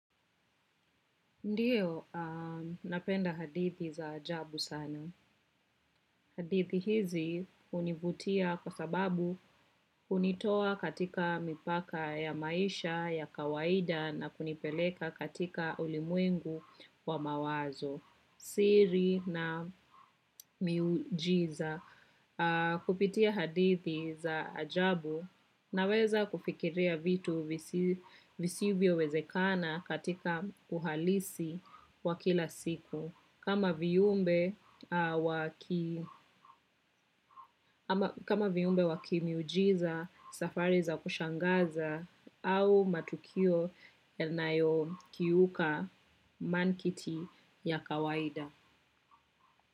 Ndiyo, napenda hadithi za ajabu sana hadithi hizi hunivutia kwa sababu hunitoa katika mipaka ya maisha ya kawaida na kunipeleka katika ulimwengu wa mawazo, siri na miujiza kupitia hadithi za ajabu naweza kufikiria vitu visivyowezekana katika uhalisi wa kila siku. Kama viumbe kama viumbe wa kimiujiza, safari za kushangaza au matukio yanayokiuka mantiki ya kawaida.